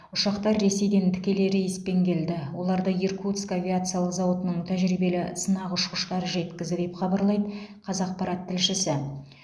ұшақтар ресейден тікелей рейспен келді оларды иркутск авиациялық зауытының тәжірибелі сынақ ұшқыштары жеткізді деп хабарлайды қазақпарат тілшісі